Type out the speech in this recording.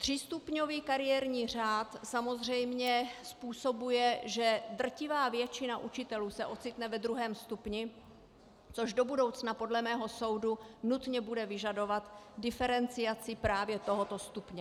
Třístupňový kariérní řád samozřejmě způsobuje, že drtivá většina učitelů se ocitne ve druhém stupni, což do budoucna podle mého soudu bude nutně vyžadovat diferenciaci právě tohoto stupně.